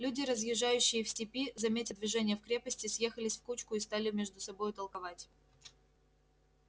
люди разъезжающие в степи заметя движение в крепости съехались в кучку и стали между собою толковать